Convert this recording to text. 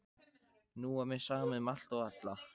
Nú var mér sama um allt og alla.